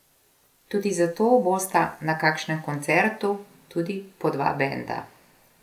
Tudi zato bosta na kakšnem koncertu tudi po dva benda.